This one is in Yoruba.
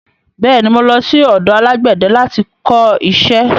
Bẹ́ẹ̀ ni, mo lọ sí ọ̀dọ alágbẹ̀dẹ láti kọ iṣẹ́.